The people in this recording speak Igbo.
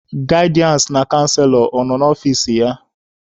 Gaịdịansị na canselọ ọ nọ n'ọfici ya?